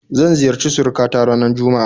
Zan ziyarci suruka ta ranar juma'a